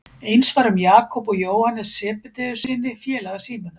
Eins var um Jakob og Jóhannes Sebedeussyni, félaga Símonar.